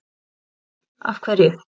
Jóhanna: Af hverju?